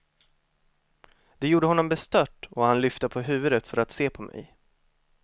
Det gjorde honom bestört och han lyfte på huvudet för att se på mig.